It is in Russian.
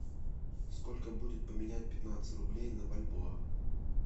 сколько будет поменять пятнадцать рублей на бальбоа